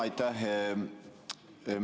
Aitäh!